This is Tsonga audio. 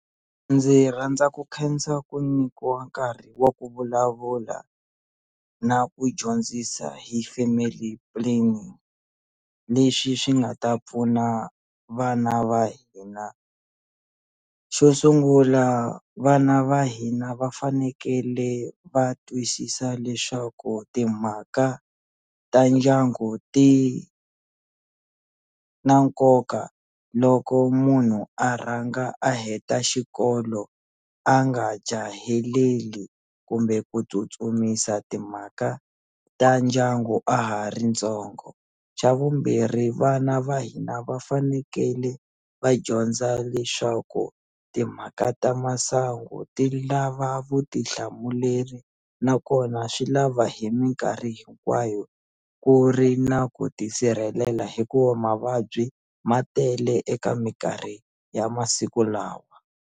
Ndzi rhandza ku khensa ku nyikiwa nkarhi wa ku vulavula na ku dyondzisa hi family planning lexi xi nga ta pfuna vana va hina xo sungula vana va hina va fanekele va twisisa leswaku timhaka ta ndyangu ti na nkoka loko munhu a rhanga a heta xikolo a nga jaheleli kumbe ku tsutsumisa timhaka ta ndyangu a ha ri ntsongo xa vumbirhi vana va hina va fanekele va dyondza leswaku timhaka ta masangu ti lava vutihlamuleri nakona swi lava hi minkarhi hinkwayo ku ri na ku tisirhelela hikuva mavabyi ma tele eka minkarhi ya masiku lawa.